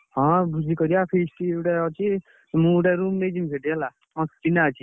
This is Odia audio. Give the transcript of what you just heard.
ହଁ ଭୋଜି କରିଆ feast ଗୋଟେ ଅଛି, ମୁଁ ଗୋଟେ room ନେଇଯିବି ସେଠି ହେଲା ଚିହ୍ନା ଅଛି।